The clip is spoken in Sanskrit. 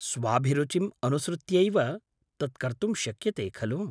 स्वाभिरुचिम् अनुसृत्यैव तत् कर्तुं शक्यते, खलु?